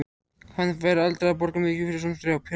Hann færi aldrei að borga mikið fyrir svona prjál.